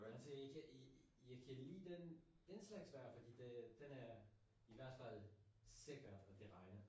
Altså ikke jeg kan lide den den slags vejr fordi det den er i hvert fald sikker at det regner